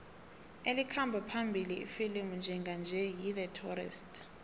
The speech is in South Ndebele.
elikhamba phambili ifilimu njenganje yi the tourist